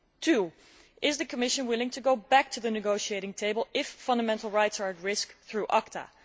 Secondly, is the Commission willing to go back to the negotiating table if fundamental rights are at risk through ACTA?